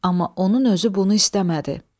amma onun özü bunu istəmədi.